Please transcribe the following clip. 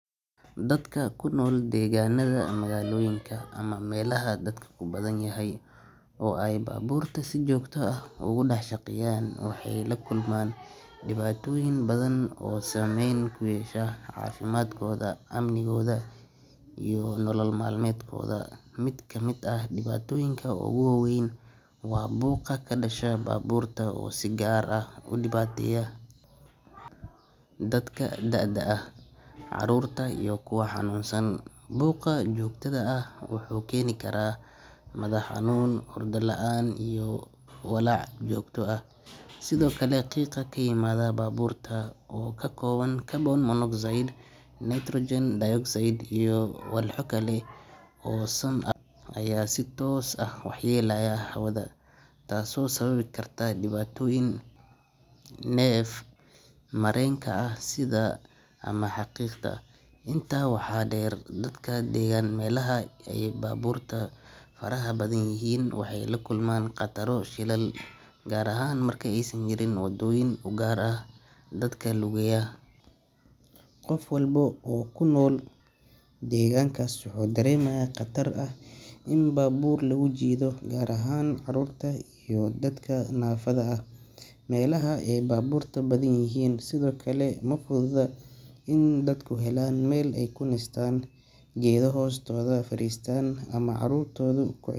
Dadka ku nool deegaannada magaalooyinka ama meelaha dadku ku badan yahay oo ay baabuurta si joogto ah uga dhex shaqeeyaan waxay la kulmaan dhibaatooyin badan oo saameyn ku yeesha caafimaadkooda, amnigooda iyo nolol maalmeedkooda. Mid ka mid ah dhibaatooyinka ugu waa weyn waa buuqa ka dhasha baabuurta oo si gaar ah u dhibaya dadka da’da ah, carruurta iyo kuwa xanuunsan. Buuqa joogtada ahi wuxuu keeni karaa madax xanuun, hurdo la’aan iyo walaac joogto ah. Sidoo kale, qiiqa ka yimaada baabuurta oo ka kooban carbon monoxide, nitrogen dioxide, iyo walxo kale oo sun ah ayaa si toos ah u waxyeeleeya hawada, taasoo sababi karta dhibaatooyin neef mareenka ah sida neefta ama xiiqda. Intaa waxaa dheer, dadka degan meelaha ay baabuurta faraha badan yihiin waxay la kulmaan khataro shilal, gaar ahaan marka aysan jirin waddooyin u gaar ah dadka lugeeya. Qof walba oo ku nool deegaankaas wuxuu dareemayaa khatar ah in baabuur lagu jiido, gaar ahaan carruurta iyo dadka naafada ah. Meelaha ay baabuurta badan yihiin sidoo kale ma fududa in dadku helaan meel ay ku nastaan, geedo hoostooda fariistaan ama carruurtoodu ku.